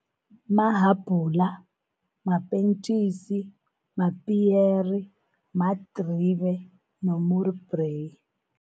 Mahabhula, mapentjisi, mapiyeri, madribe nomrubreyi.